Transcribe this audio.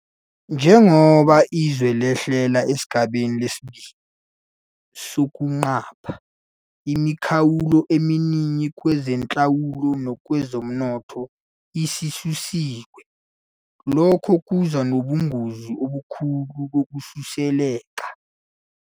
Njengoba izwe lehlela esigabeni sesi-2 sokuqapha, imikhawulo eminingi kwezenhlalo nakwezomnotho isisusiwe. Lokhu kuza nobungozi obukhulu bokusuleleka.